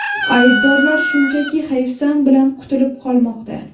Aybdorlar shunchaki hayfsan bilan qutulib qolmoqda.